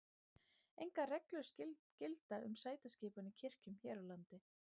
engar reglur gilda um sætaskipan í kirkjum hér á landi